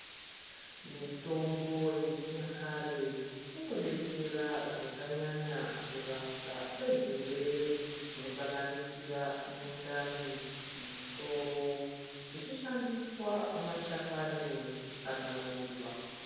Mitombo yechinyakare unobetsera zvakanyanya kurapwa kwezvirwere zvinosanganisira mundani ,musoro uchishandiswa mashakani kana maruva.